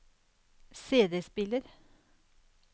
CD-spiller